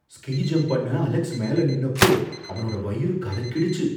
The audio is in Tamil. ஸ்கீ ஜம்ப் பண்ண அலெக்ஸ் மேல நின்னப்போ அவனோட வயிறு கலக்கிடுச்சு.